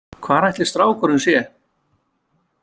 Hvar ætli strákurinn sé?